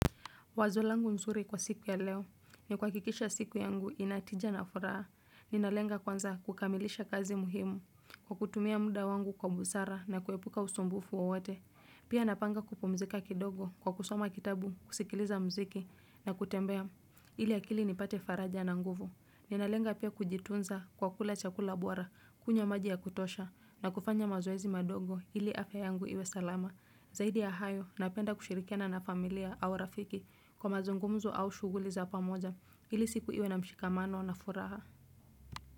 Wazo langu nzuri kwa siku ya leo, ni kuhakikisha siku yangu inatija na furaha. Ninalenga kwanza kukamilisha kazi muhimu, kwa kutumia muda wangu kwa busara na kuepuka usumbufu wowote. Pia napanga kupumzika kidogo kwa kusoma kitabu, kusikiliza mziki na kutembea ili akili nipate faraja na nguvu. Ninalenga pia kujitunza kwa kula chakula buwara, kunywa maji ya kutosha na kufanya mazoezi madogo ili afya yangu iwe salama. Zaidi ya hayo, napenda kushirikiana na familia au rafiki kwa mazungumzo au shughuli za pamoja ili siku iwe na mshikamano na furaha.